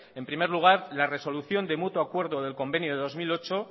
en primer lugar la resolución de mutuo acuerdo del convenio de dos mil ocho